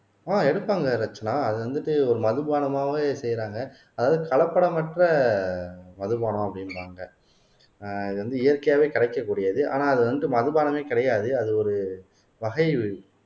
ஆஹ் எடுப்பாங்க ரட்சனா அது வந்துட்டு ஒரு மதுபானமாவும் செய்யறாங்க அதாவது கலப்படமற்ற மதுபானம் அப்படின்றாங்க ஆஹ் இது வந்து இயற்கையாவே கிடைக்கக்கூடியது ஆனா அது வந்து மதுபானமே கிடையாது அது ஒரு வகை